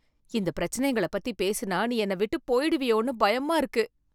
இந்த பிரச்சனைங்கள பத்தி பேசுனா நீ என்ன விட்டு போயிடுவியோன்னு பயமா இருக்கு.